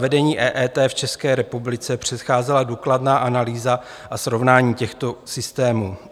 Zavedení EET v České republice předcházela důkladná analýza a srovnání těchto systémů.